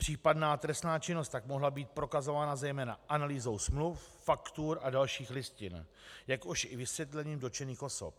Případná trestná činnost tak mohla být prokazována zejména analýzou smluv, faktur a dalších listin, jakož i vysvětlením dotčených osob.